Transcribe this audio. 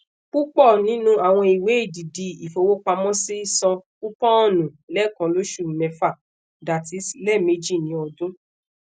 pupọ ninu awọn iwe edidi ifowopamosi san kupọọnu leekanlosu mefa ie lẹmeji ni ọdun